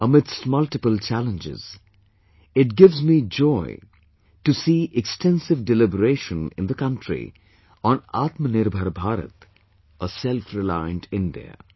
Amidst multiple challenges, it gives me joy to see extensive deliberation in the country on Aatmnirbhar Bharat, a selfreliant India